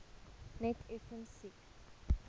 net effens siek